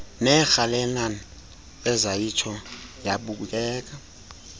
neerhalenana ezayitsho yabukeka